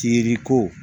Tiriko